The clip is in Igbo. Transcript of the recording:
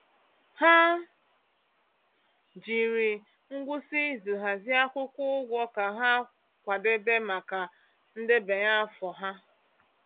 Ha jiri ngwụsị izu hazie akwụkwọ ụgwọ ka ha kwadebe maka ndebanye afọ ha.